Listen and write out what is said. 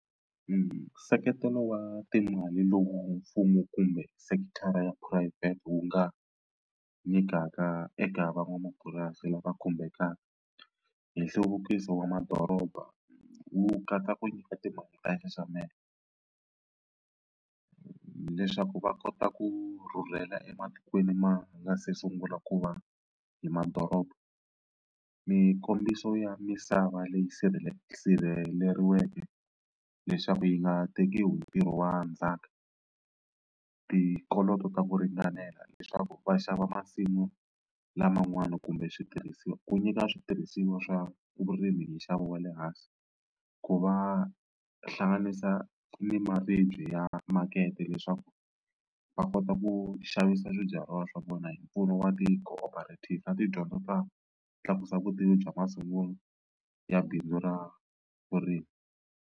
Nseketelo wa timali lowu mfumo kumbe sekithara ya phurayivhete wu nga nyikaka eka van'wamapurasi lava khumbekaka hi nhluvukiso wa madoroba wu katsa ku nyika timali ta nxaxamelo leswaku va kota ku rhurhela ematikweni ma nga se sungula ku va hi madoroba. Mikombiso ya misava leyi sirhelelekeke leswaku yi nga tekiwi hi ntirho wa ndzhaka, tikoloto ta ku ringanela leswaku va xava masimu laman'wana kumbe switirhisiwa ku nyika switirhisiwa swa vurimi hi nxavo wa le hansi, ku va hlanganisa ni maribye ya makete leswaku va kota ku xavisa swibyariwa swa vona hi mpfuno wa na tidyondzo ta tlakusa vutivi bya masungulo ya bindzu ra vurimi.